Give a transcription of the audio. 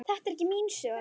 Það er ekki mín sök.